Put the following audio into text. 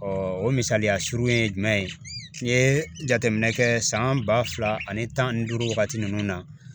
o misaliya surun ye jumɛn ye n'i ye jateminɛ kɛ san ba fila ani tan ni duuru wagati ninnu na